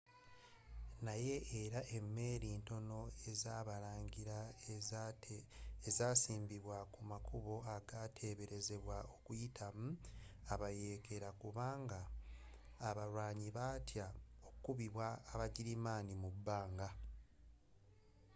naye era emeeri ntono ezabalangira zasiimbibwa kumakubo agateberezebwa okuyitamu abayeekera kubanga abalwanyi batya okukubibwa aba girimaani mubbanga